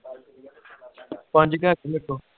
ਪੰਜ ਕੇ ਹੈਗੇ ਮੇਰੇ ਕੋ